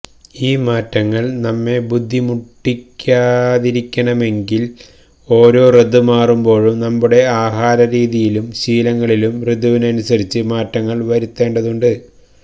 ഈ മാറ്റങ്ങള് നമ്മെ ബുദ്ധിമുട്ടിക്കാതിരിക്കണമെങ്കില് ഓരോ ഋതുമാറുമ്പോഴും നമ്മുടെ ആഹാര രീതിയിലും ശീലങ്ങളിലും ഋതുവിനനുസരിച്ച് മാറ്റങ്ങള് വരുത്തേണ്ടതുണ്ട്